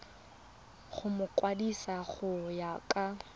go mokwadise go ya ka